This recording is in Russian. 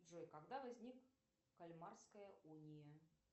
джой когда возник кальмарская уния